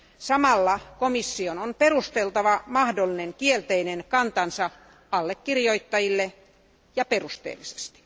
Samalla komission on perusteltava mahdollinen kielteinen kantansa allekirjoittajille, ja perusteellisesti.